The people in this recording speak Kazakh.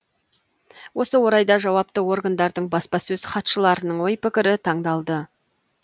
осы орайда жауапты органдардың баспасөз хатшыларының ой пікірі тыңдалды